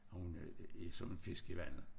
Hun er som en fisk i vandet